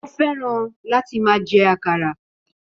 Ó fẹ́ràn láti máa jẹ àkàrà